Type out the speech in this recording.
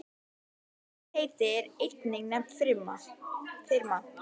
Slíkt heiti er einnig nefnt firma.